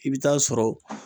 I bi taa sɔrɔ